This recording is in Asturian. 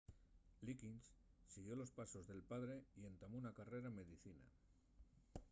liggins siguió los pasos del padre y entamó una carrera en medicina